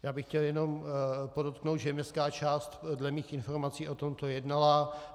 Já bych chtěl jenom podotknout, že městská část dle mých informací o tomto jednala.